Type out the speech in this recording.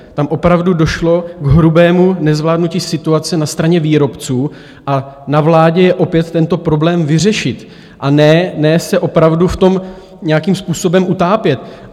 Tam opravdu došlo k hrubému nezvládnutí situace na straně výrobců a na vládě je opět tento problém vyřešit, a ne se opravdu v tom nějakým způsobem utápět.